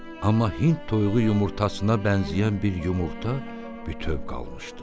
Amma hind toyuğu yumurtasına bənzəyən bir yumurta bütöv qalmışdı.